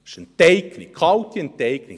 Es ist Enteignung, kalte Enteignung.